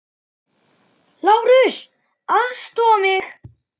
LÁRUS: Aðstoða mig!